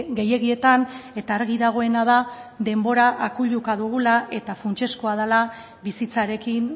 gehiegietan eta argi dagoena da denbora akuiluka dugula eta funtsezkoa dela bizitzarekin